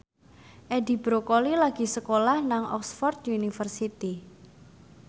Edi Brokoli lagi sekolah nang Oxford university